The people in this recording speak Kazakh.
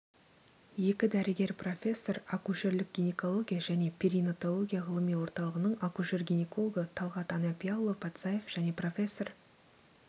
екі дәрігер профессор акушерлік гинекология және перинатология ғылыми орталығының акушер-гинекологы талғат анапиаұлы патсаев және профессор